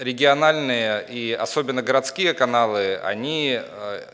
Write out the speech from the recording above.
региональные и особенно городские каналы они